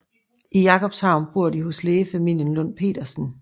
I Jakobshavn bor de hos lægefamilien Lund Petersen